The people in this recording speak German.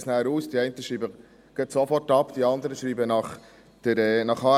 – Die einen schreiben sofort ab, die anderen schreiben nach HRM2 ab.